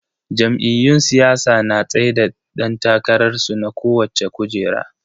Jam'iyyun siyasa na tsaida dan takararsu na kowacce kujera.